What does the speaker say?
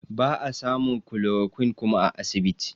Ba a samun chloroquine kuma a asibiti